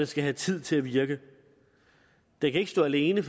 skal have tid til at virke den kan ikke stå alene